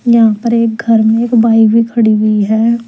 यहां पर एक घर में एक बाइक भी खड़ी हुई है।